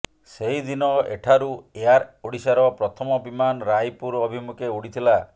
ସେହିଦିନ ଏଠାରୁ ଏୟାର ଓଡ଼ିଶାର ପ୍ରଥମ ବିମାନ ରାୟପୁର ଅଭିମୁଖେ ଉଡ଼ିଥିଲା